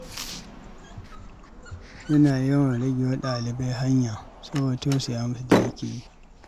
Yana yawan rage wa ɗalibai hanya soboda tausaya musu da yake yi.